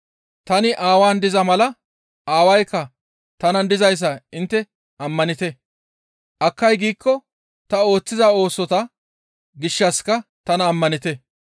Tani Aawaan diza mala, Aawaykka tanan dizayssa intte ammanite; akkay giikko ta ooththiza oosota gishshassika tana ammanite.